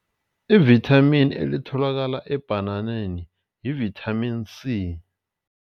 Ivithamini elitholakala ebhananeni yivithamini C.